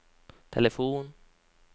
telefon